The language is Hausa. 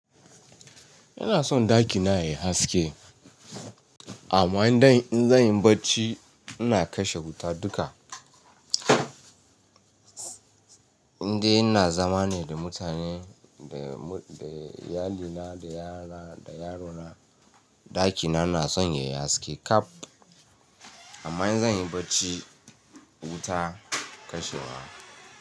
Ina son ɗaki na yai haske amma in zanyi bacci ina kashe wuta duka inde ina zama ne da mutane, da iyalina, da yara, da yarona, ɗakina na son yayi haske ƙab. Amma in zan yi bacci, wuta kashewa.